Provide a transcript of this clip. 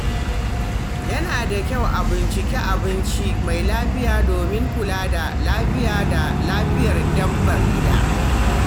Yana da kyau a bincika abinci mai lafiya domin kula da lafiya da lafiyar dabbar gida.